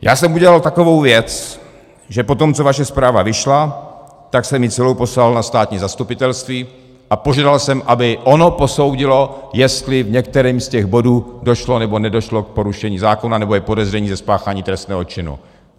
Já jsem udělal takovou věc, že po tom, co vaše zpráva vyšla, tak jsem ji celou poslal na státní zastupitelství a požadoval jsem, aby ono posoudilo, jestli v některém z těch bodů došlo nebo nedošlo k porušení zákona nebo je podezření ze spáchání trestného činu.